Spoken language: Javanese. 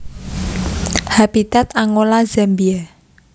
Habitat Angola Zambia